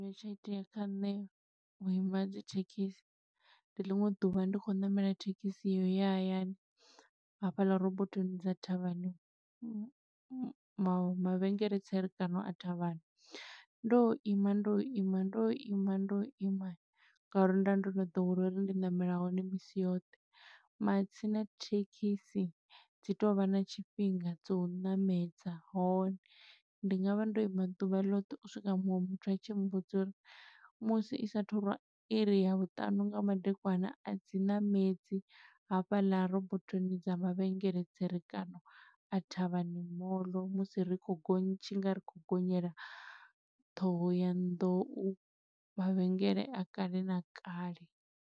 Tsha itea kha nṋe vhu ima dzi thekhisi. Ndi ḽiṅwe ḓuvha ndi khou ṋamela thekhisi ya u ya hayani hafhaḽa robothoni dza Thavhani mavhengele tserekano a Thavhani. Ndo ima, ndo ima, ndo ima, ndo ima, nga uri nda ndo no ḓowela uri ndi ṋamela hone misi yoṱhe. Matsina thekhisi dzi tovha na tshifhinga dzo u ṋamedza hone ndi nga vha ndo ima ḓuvha loṱhe u swika muṅwe muthu a tshi mmbudza uri, musi i sathu rwa iri ya vhuṱanu nga madekwana, a dzi ṋamedzi hafhaḽa robothoni dza mavhengele tserekano a Thavhani mall musi ri khou gonya tshi nga ri khou gonyela thohoyandou, mavhengele a kale na kale.